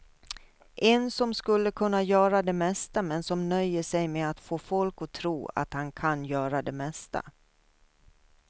En som skulle kunna göra det mesta men som nöjer sig med att få folk att tro att han kan göra det mesta.